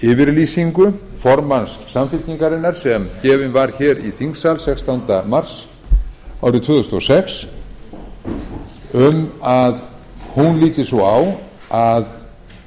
yfirlýsingu formanns samfylkingarinnar sem gefin var hér í þingsal sextánda mars árið tvö þúsund og sex um að hún líti svo á að